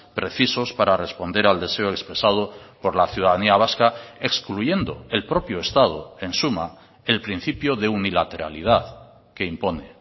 precisos para responder al deseo expresado por la ciudadanía vasca excluyendo el propio estado en suma el principio de unilateralidad que impone